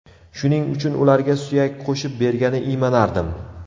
Shuning uchun ularga suyak qo‘shib bergani iymanardim .